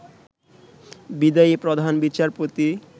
বিদায়ী প্রধান বিচারপতি